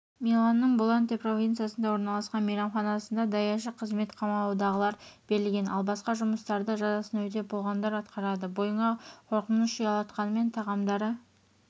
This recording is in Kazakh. миланның болланте провинциясында орналасқан мейрамханасында да даяшы қызметі қамаудағыларға берілген ал басқа жұмыстарды жазасын өтеп болғандар атқарады бойыңа қорқыныш ұялатқанымен тағамдары